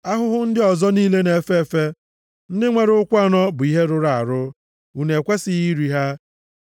Ahụhụ ndị ọzọ niile na-efe efe, ndị nwere ụkwụ anọ, bụ ihe rụrụ arụ. Unu ekwesighị iri ha.